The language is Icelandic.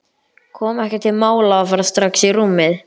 Kom ekki til mála að fara strax í rúmið.